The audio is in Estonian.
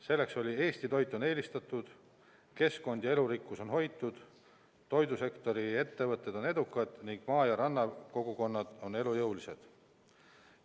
See on: "Eesti toit on eelistatud, keskkond ja elurikkus on hoitud, toidusektori ettevõtted on edukad ning maa- ja rannakogukonnad on elujõulised.